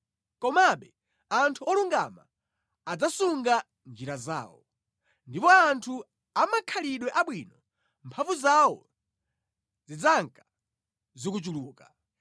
Komabe anthu olungama adzasunga njira zawo, ndipo anthu a makhalidwe abwino mphamvu zawo zidzanka zikuchuluka.